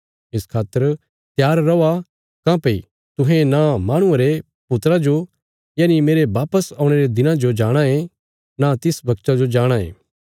इस खातर त्यार रौआ काँह्भई तुहें न माहणुये रे पुत्रा जो यनि मेरे वापस औणे रे दिना जो जाणाँ ये नां तिस वगता जो जाणाँ ये